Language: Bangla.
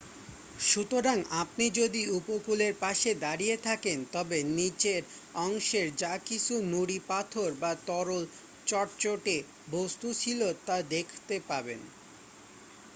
সুতরাং আপনি যদি উপকূলের পাশে দাঁড়িয়ে থাকেন তবে নিচের অংশের যা কিছু নুড়ি পাথর বা তরল চটচটে বস্তূ ছিল তা দেখতে পাবেন